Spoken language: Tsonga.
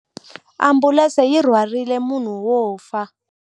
Ambulense yi rhwarile munhu wo fa.